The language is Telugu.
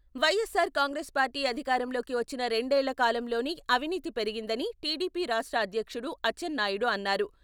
వైఎస్సార్ కాంగ్రెస్ పార్టీ అధికారంలోకి వచ్చిన రెండేళ్ల కాలంలోనే అవినీతి పెరిగిందని టీడీపీ రాష్ట్ర అధ్యక్షుడు అచ్చెన్నాయుడు అన్నారు.